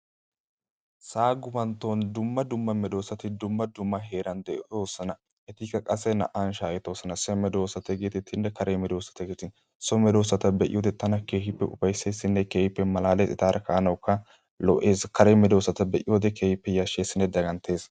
Sa'a gufantton dumma dumma medosat dumma dumma heeran de'osona. Etikka naa''awu shaahetosona. So medosata getettidinne kare medoossata. So medossata be'iyode tana keehippe ufayssesinne keehippe malaalees. Kare medosata be'iyode keehipe yashsheesinne dagganttees.